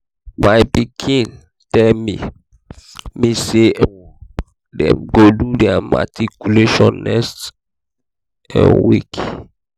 my pikin tell me me say um dey go do their matriculation next um week